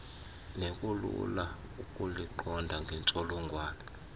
nekulula ukuluqonda ngentsholongwane